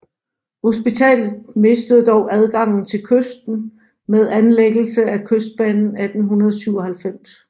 Hospitalet mistede dog adgangen til kysten med anlæggelsen af Kystbanen 1897